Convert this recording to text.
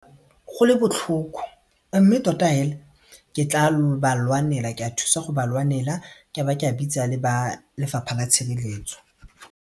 Go le botlhoko mme tota hela ke tla ba lwanela ke a thusa go ba lwanela ka ba ka bitsa le ba Lefapha la Tshireletso.